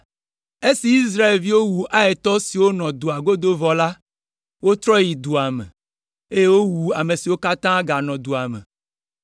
Esi Israelviwo wu Aitɔ siwo nɔ dua godo vɔ la, wotrɔ yi dua me, eye wowu ame siwo katã ganɔ dua me.